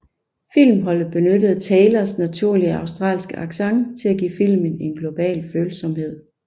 Filmholdet benyttede Taylors naturlige australske accent til at give filmen en global følsomhed